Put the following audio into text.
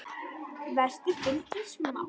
Vestur fylgir smátt.